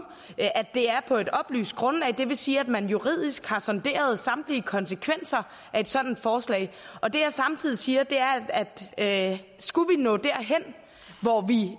at det er på et oplyst grundlag og det vil sige at man juridisk har sonderet samtlige konsekvenser af et sådant forslag og det jeg samtidig siger er at skulle vi nå derhen hvor vi